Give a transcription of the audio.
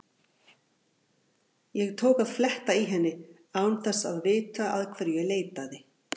Ég tók að fletta í henni án þess að vita að hverju ég leitaði.